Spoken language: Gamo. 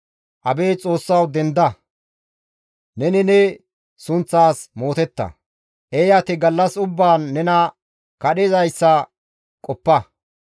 Abeet Xoossawu! Denda! Neni ne sunththas mootetta; eeyati gallas ubbaan nena kadhizayssa qoppa.